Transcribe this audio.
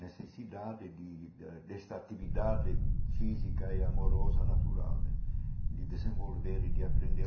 necessidade de ãh dessa atividade física e amorosa natural né de desenvolver e de aprender.